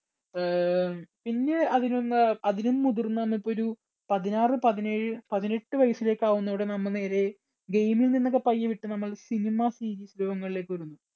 അഹ് പിന്നെ അതിനൊന്ന അതിലും മുതിർന്ന നമുക്കൊരു പതിനാറ് പതിനേഴ് പതിനെട്ട് വയസ്സിലേക്ക് ആകുന്നൊടെ നമ്മൾ നേരെ game ൽ നിന്നൊക്കെ പയ്യെ വിട്ട് നമ്മൾ cinema, series ലോകങ്ങളിലേക്കൊതുങ്ങും.